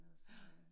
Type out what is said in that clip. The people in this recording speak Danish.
Ja